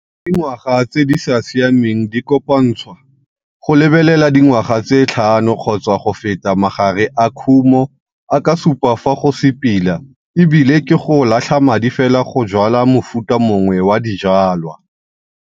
Fa dingwaga tse di sa siameng di kopantshwa go lebelela dingwaga tse tlhano kgotsa go feta magare a kumo a ka supa fa go se pila e bile ke go latlha madi fela go jwala mofuta mongwe wa dijwalwa.